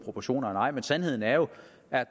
af